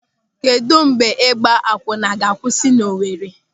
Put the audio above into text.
Kedụ mgbe ịgba akwụnna ga-akwụsị n'Owere?